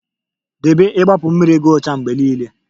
Debe igbapu mmiri gi ocha mgbe niile